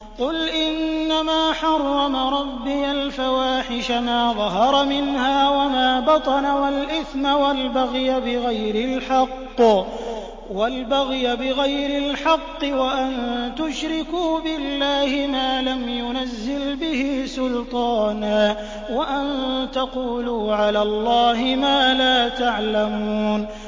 قُلْ إِنَّمَا حَرَّمَ رَبِّيَ الْفَوَاحِشَ مَا ظَهَرَ مِنْهَا وَمَا بَطَنَ وَالْإِثْمَ وَالْبَغْيَ بِغَيْرِ الْحَقِّ وَأَن تُشْرِكُوا بِاللَّهِ مَا لَمْ يُنَزِّلْ بِهِ سُلْطَانًا وَأَن تَقُولُوا عَلَى اللَّهِ مَا لَا تَعْلَمُونَ